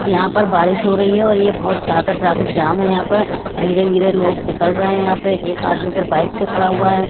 यहां पर बारिश हो रही है और ये बहोत ज्यादा ट्रैफिक जाम है यहां पर धीरे धीरे लोग निकल रहे हैं यहां पे एक आदमी इधर बाइक से खड़ा हुआ है।